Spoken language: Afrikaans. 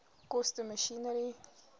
koste masjinerie